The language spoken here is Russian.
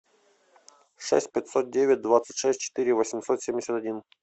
шесть пятьсот девять двадцать шесть четыре восемьсот семьдесят один